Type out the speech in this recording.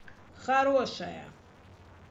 хорошая